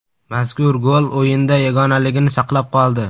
Mazkur gol o‘yinda yagonaligini saqlab qoldi.